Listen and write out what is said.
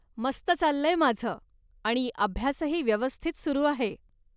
मस्त चाललंय माझं आणि अभ्यासही व्यवस्थित सुरु आहे.